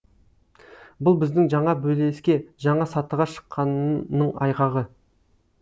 бұл біздің жаңа белеске жаңа сатыға шыққанның айғағы